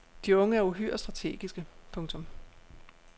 De unge er uhyre strategiske. punktum